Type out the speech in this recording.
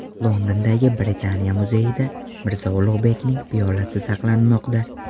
Londondagi Britaniya muzeyida Mirzo Ulug‘bekning piyolasi saqlanmoqda .